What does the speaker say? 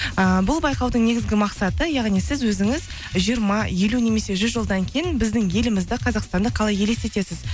ыыы бұл байқаудың негізгі мақсаты яғни сіз өзіңіз жиырма елу немесе жүз жылдан кейін біздің елімізді қазақстанды қалай елестетесіз